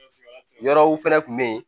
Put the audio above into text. Yɔrɔw fɛnɛ kun be yen